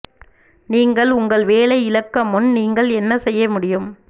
நீங்கள் உங்கள் வேலை இழக்க முன் நீங்கள் என்ன செய்ய முடியும்